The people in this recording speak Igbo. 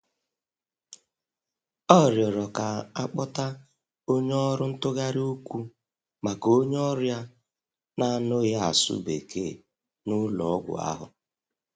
Ọ rịọrọ ka-akpota onye ọrụ ntụgharị okwu maka onye ọrịa na-anụghị asụ Bekee na-ụlọ ọgwụ ahụ.